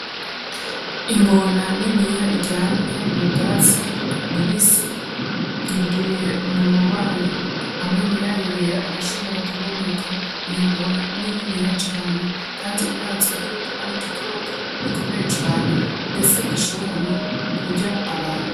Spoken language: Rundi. Ingona niniya iryamye mu bwatsi bubisi yuguruye umunwa wayo amenya yayo yera arashobora kuboneka iyo ngona n'ininiya cane, kandi irazwi yuko ari igikoko gikomeye cane, ndetse gishobora no kurya abantu.